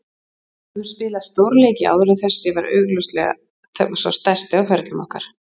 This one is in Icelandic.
Við höfðum spilað stórleiki áður en þessi var augljóslega sá stærsti á ferlum okkar.